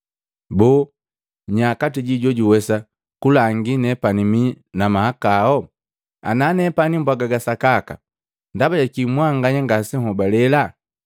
Boo nya kati jinu jojuwesa kulangi nepani mi na mahakao? Ana nepani mbwaga ga sakaka, ndaba jakii mwanganya ngasenhobalela?